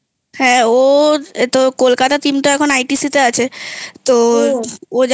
হ্যাঁ ওর তো কলকাতার Team টা এখন ITC তে আছে তো